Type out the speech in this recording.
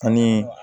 Ani